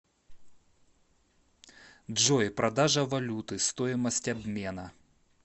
джой продажа валюты стоимость обмена